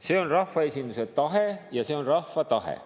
See on rahvaesinduse tahe ja see on rahva tahe.